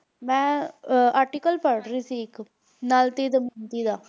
ਮੈਂ ਅਹ article ਪੜ੍ਹ ਰਹੀ ਸੀ ਇੱਕ ਨਲ ਤੇ ਦਮਯੰਤੀ ਦਾ